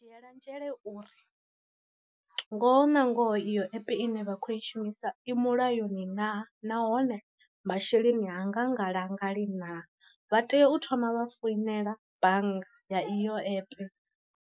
Dzhiyelanzhele uri, ngoho na ngoho iyo epe ine vha khou i shumisa i mulayoni naa nahone masheleni hanga ngalangali naa, vha tea u thoma vha foinela bannga ya eyo epe.